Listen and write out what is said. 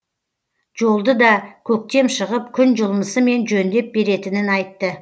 жолды да көктем шығып күн жылынысымен жөндеп беретінін айтты